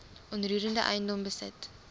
onroerende eiendom besit